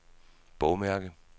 bogmærke